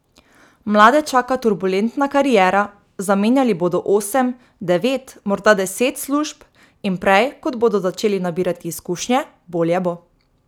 Mlade čaka turbulentna kariera, zamenjali bodo osem, devet, morda deset služb in prej, kot bodo začeli nabirati izkušnje, bolje bo.